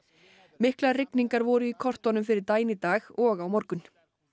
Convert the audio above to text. miklar rigningar voru í kortunum fyrir daginn í dag og á morgun